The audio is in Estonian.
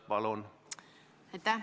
Palun!